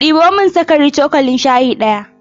Ɗebo min sukari cokalin shayi ɗaya.